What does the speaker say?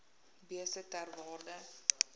beeste ter waarde